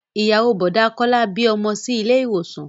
Ìyàwó Bọ̀dá Kọ́lá bí ọmọ sí ilé ìwòsàn